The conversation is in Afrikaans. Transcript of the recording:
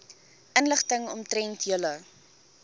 inligting omtrent julle